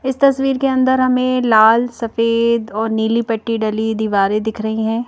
इस तस्वीर के अंदर हमें लाल सफेद और नीली पट्टी डली दीवारें दिख रही है।